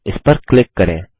इस पर क्लिक करें